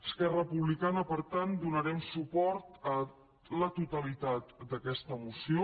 esquerra republicana per tant donarem suport a la totalitat d’aquesta moció